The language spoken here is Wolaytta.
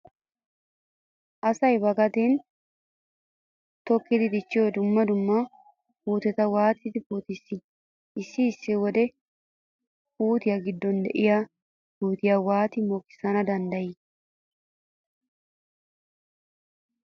Asay ba gadeeni tokki dichchiyo dumma dumma puuteta waati puutissii? Issi issi wode poottiya giddon diya puutiya waati mokissana danddayii?